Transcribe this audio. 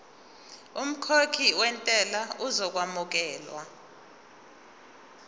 umkhokhi wentela uzokwamukelwa